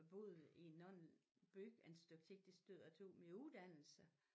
Boet i nogen by en stykke tid det sted jeg tog min uddannelse